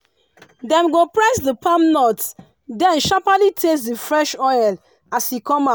dem go press the palm nut then sharperly taste the fresh oil as e come out.